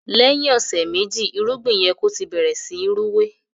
lèyìn ọsẹ meji irúgbìn yẹ kò tí bẹrẹ sìn Rúwé.